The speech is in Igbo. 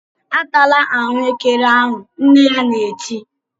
"Atala ahụekere ahụ!" Nne ya na-eti.